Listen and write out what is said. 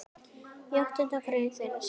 Í áttundu grein þeirra segir